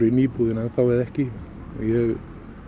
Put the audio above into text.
í íbúðinni eða ekki ég